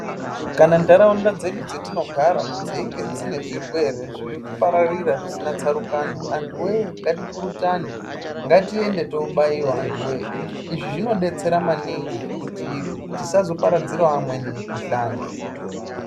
Kana nharaunda dzedu dzetinogara dzeinge dzine zvirwere zvirikupararira zvisina tsarukano, anhuwoye ngatipurutane ngatiende tobaiwa anhuwoye, izvi zvinodetsera maningi kuti tisazoparadzira wo amweni mikhuhlani.